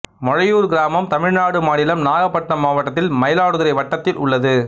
மொழையூர் கிராமம் தமிழ்நாடு மாநிலம் நாகப்பட்டினம் மாவட்டத்தில் மயிலாடுதுறை வட்டத்தில் உள்ளது